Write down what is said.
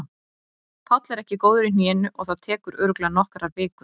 Páll er ekki góður í hnénu og það tekur örugglega nokkrar vikur.